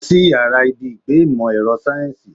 Lọ sí ìyára ibi ìgbé ìmò èrò sáyẹ́nsì.